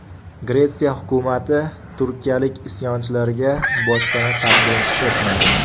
Gretsiya hukumati turkiyalik isyonchilarga boshpana taqdim etmadi.